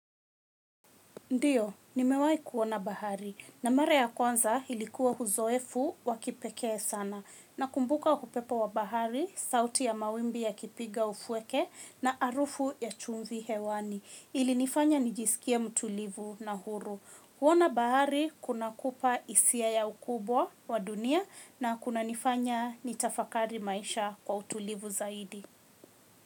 Ndiyo, nimewai kuona bahari na mara ya kwanza ilikuwa huzoefu wa kipekee sana nakumbuka hupepo wa bahari, sauti ya mawimbi yakipiga ufueke na arufu ya chumvi hewani. Ilinifanya nijisikie mtulivu na huru. Huona bahari kuna kupa isia ya ukubwa wa dunia na kuna nifanya nitafakari maisha kwa utulivu zaidi.